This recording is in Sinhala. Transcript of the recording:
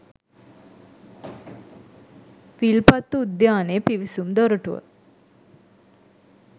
විල්පත්තු උද්‍යානයේ පිවිසුම් දොරටුවට